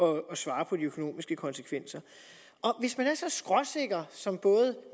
at svare på de økonomiske konsekvenser hvis man er så skråsikker som både